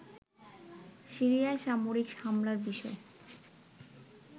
সিরিয়ায় সামরিক হামলার বিষয়ে